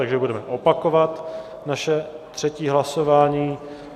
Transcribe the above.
Takže budeme opakovat naše třetí hlasování.